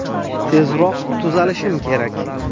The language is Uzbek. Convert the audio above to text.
Tezroq tuzalishim kerak.